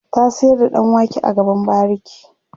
ta sayar da ɗan wake a gaban bariki